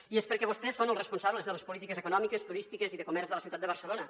i és perquè vostès són els responsables de les polítiques econòmiques turístiques i de comerç de la ciutat de barcelona